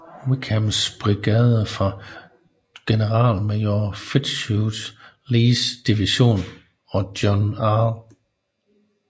Wickhams brigade fra generalmajor Fitzhugh Lees division og John R